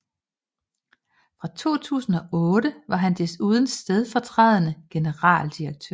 Fra 2008 var han desuden stedfortrædende generaldirektør